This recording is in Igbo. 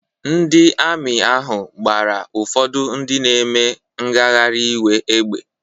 Ndị Amị ahụ gbara ụfọdụ ndị na-eme ngagharị iwe égbè.